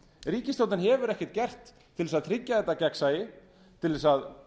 ríkisstjórnin hefur ekkert gert til að tryggja þetta gegnsæi til að